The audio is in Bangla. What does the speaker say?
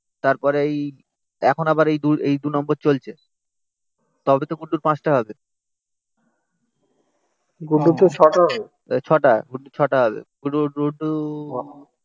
তারপরে এই এখন আবার এই এই দু নম্বর চলছে তবে তো গুড্ডুর পাঁচটা হবে গুড্ডুর তো ছটা হবে ছটা গুড্ডুর ছটা হবে